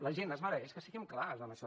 la gent es mereix que siguem clars en això